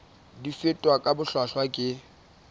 di fetwa ka bohlwahlwa ke